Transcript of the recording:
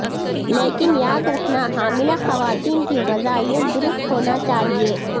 لیکن یاد رکھنا حاملہ خواتین کی غذائیت درست ہونا چاہیے